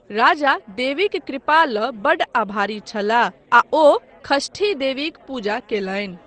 राजा देवीक कृपा लऽ बड्ड आभारी छलाह आ ओ षष्ठी देवीक पूजा कयलनि।